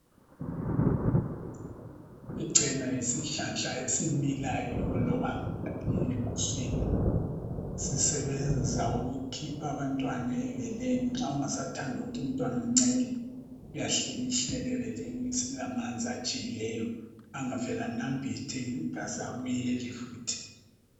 Ichena yisihlahla esimilayo loba ngaphi eguswini. Sisebenza ukukhipha abantwana ebeleni nxa ungasathandi ukuthi umntwana ancele, uyahlikihlela ebeleni. Silamanzi ajiyileyo, angavele anambithe kasabuyeli futhi.